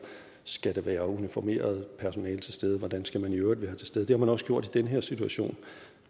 skal der være uniformeret personale til stede hvordan skal man i øvrigt være til stede det har man også gjort i den her situation